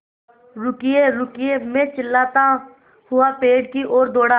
रुकिएरुकिए मैं चिल्लाता हुआ पेड़ की ओर दौड़ा